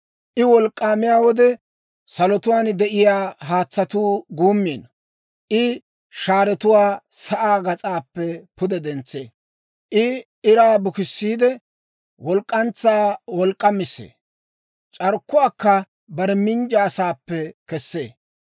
I wolk'k'aamiyaa wode, salotuwaan de'iyaa haatsatuu guummiino. I shaaretuwaa sa'aa gas'aappe pude dentsee. I iraa bukissiidde, walk'k'antsaa wolk'k'amissee. C'arkkuwaakka bare minjja saappe kessee.